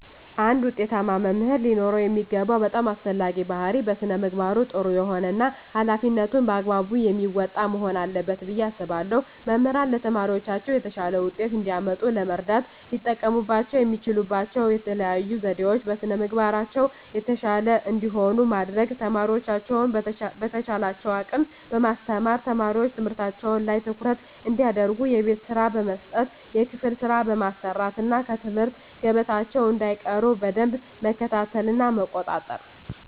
አንድ ውጤታማ መምህር ሊኖረው የሚገባው በጣም አስፈላጊው ባህሪይ በስነ ምግባሩ ጥሩ የሆነ እና ሀላፊነቱን በአግባቡ የሚወጣ መሆን አለበት ብየ አስባለሁ። መምህራን ለተማሪዎቻቸው የተሻለ ውጤት እንዲያመጡ ለመርዳት ሊጠቀሙባቸው የሚችሉባቸው የተለዩ ዘዴዎች - በስነ ምግባራቸው የተሻሉ እንዲሆኑ ማድረግ፣ ተማሪዎቻቸውን በተቻላቸው አቅም በማስተማር፣ ተማሪዎች ትምህርታቸው ላይ ትኩረት እንዲያደርጉ የቤት ስራ በመስጠት የክፍል ስራ በማሰራት እና ከትምህርት ገበታቸው እንዳይቀሩ በደንብ መከታተልና መቆጣጠር።